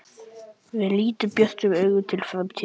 Við lítum björtum augum til framtíðarinnar.